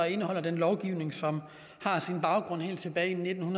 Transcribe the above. indeholder den lovgivning som har sin baggrund helt tilbage i nitten